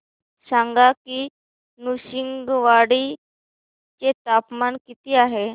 सांगा की नृसिंहवाडी चे तापमान किती आहे